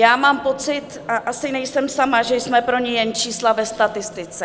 Já mám pocit, a asi nejsem sama, že jsme pro ně jen čísla ve statistice.